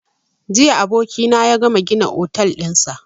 Jiya abokina ya gama gina otel ɗinsa